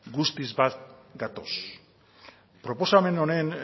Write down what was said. guztiz bat gatoz proposamen honen